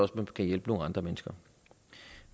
kan hjælpe nogle andre mennesker